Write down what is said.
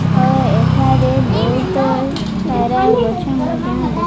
ହଁ ଏଠାରେ ବହୁତ ସାରା ଗଛ ମଧ୍ୟ ଦେଖା --